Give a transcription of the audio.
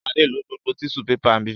Sadé lo gbogbo tíṣú pepà mi.